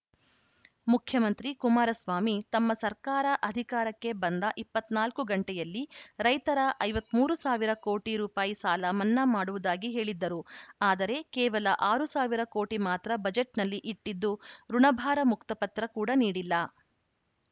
ಮುಖ್ಯಮಂತ್ರಿ ಕುಮಾರಸ್ವಾಮಿ ತಮ್ಮ ಸರ್ಕಾರ ಅಧಿಕಾರಕ್ಕೆ ಬಂದ ಇಪ್ಪತ್ತ್ ನಾಲ್ಕು ಗಂಟೆಯಲ್ಲಿ ರೈತರ ಐವತ್ತ್ ಮೂರು ಸಾವಿರ ಕೋಟಿ ರುಪಾಯಿ ಸಾಲ ಮನ್ನಾ ಮಾಡುವುದಾಗಿ ಹೇಳಿದ್ದರು ಆದರೆ ಕೇವಲ ಆರು ಸಾವಿರ ಕೋಟಿ ಮಾತ್ರ ಬಜೆಟ್‌ನಲ್ಲಿ ಇಟ್ಟಿದ್ದು ಋುಣಭಾರ ಮುಕ್ತ ಪತ್ರ ಕೂಡ ನೀಡಿಲ್ಲ